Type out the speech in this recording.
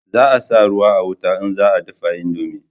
Za a sa ruwa a wuta in za a dafa indomi